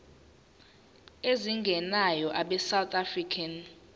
ezingenayo abesouth african